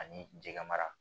Ani jɛgɛ mara